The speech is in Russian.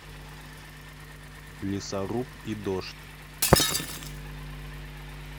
лесоруб и дождь